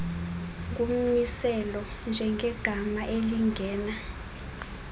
ngummiselo njengegama elingena